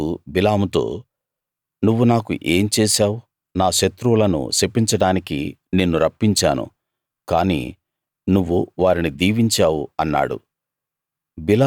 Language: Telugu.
బాలాకు బిలాముతో నువ్వు నాకు ఏం చేశావు నా శత్రువులను శపించడానికి నిన్ను రప్పించాను కాని నువ్వు వారిని దీవించావు అన్నాడు